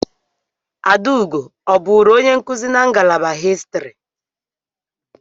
Adaugo ọ bụụrụ onye nkuzi na ngalaba Histri?